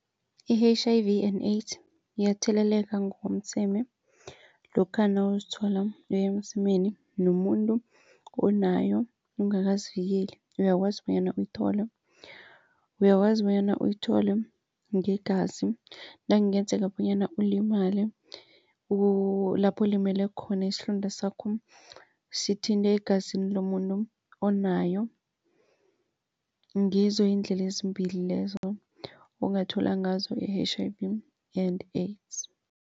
I-H_I_V and AIDS iyatheleleka ngokomseme lokha nawuzithola uye emsemeni nomuntu onayo ungakazivikeli uyakwazi bonyana uyithole. Uyakwazi bonyana uyithole ngegazi nakungenzeka bonyana ulimale lapho ulimele khona isilonda sakho sithinta egazini lomuntu onayo. Ngizo iindlela ezimbili lezo ongathola ngazo i-H_I_V and AIDS.